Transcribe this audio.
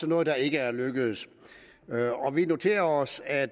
noget der ikke er lykkedes vi noterer os at